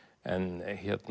en